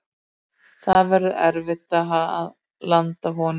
Það verður erfitt að landa honum,